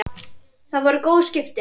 Það voru góð skipti.